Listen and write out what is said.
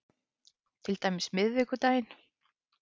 Til dæmis miðvikudaginn